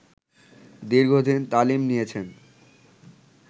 দীর্ঘদিন তালিম নিয়েছেন